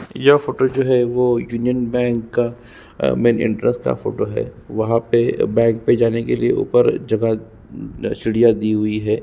यह फोटो जो है युनिओने बैंक का मैन इन्ट्रेन्स का फोटो है वहा पर बैंक में जाने के लिए ऊपर जगह सीढ़िया दी हुई है |